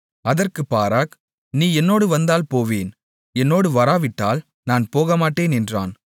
அதற்குப் பாராக் நீ என்னோடு வந்தால் போவேன் என்னோடு வராவிட்டால் நான் போகமாட்டேன் என்றான்